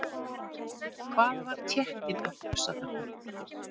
Hvað var Tékkinn að hugsa þarna?